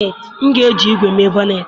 M ga-eji ígwè mee bọnnetị